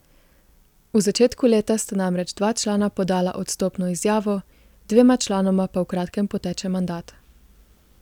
V začetku leta sta namreč dva člana podala odstopno izjavo, dvema članoma pa v kratkem poteče mandat.